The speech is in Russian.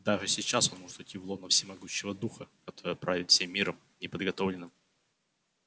даже сейчас он может уйти в лоно всемогущего духа который правит всем миром неподготовленным